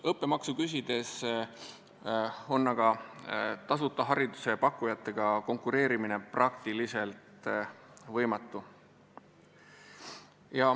Õppemaksu küsides on tasuta hariduse pakkujatega konkureerimine praktiliselt võimatu.